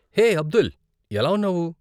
హే, అబ్దుల్, ఎలా ఉన్నావు?